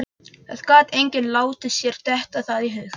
Það gat enginn látið sér detta það í hug.